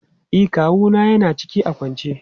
E, kawu na ya na ciki a kwance.